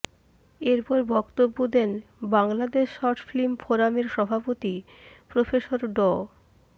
এরপর বক্তব্য দেন বাংলাদেশ শর্ট ফিল্ম ফোরামের সভাপতি প্রফেসর ড